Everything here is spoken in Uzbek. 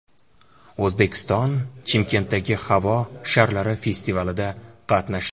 O‘zbekiston Chimkentdagi havo sharlari festivalida qatnashdi.